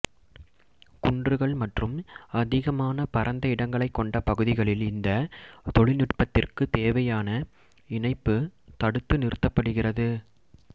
குன்றுகள் மற்றும் அதிகமான பரந்த இடங்களைக் கொண்ட பகுதிகளில் இந்த தொழில்நுட்பத்திற்கு தேவையான இணைப்பு தடுத்து நிறுத்தப்படுகிறது